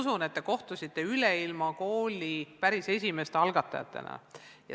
Ma usun, et te kohtusite Üleilmakooli päris esimeste algatajatega.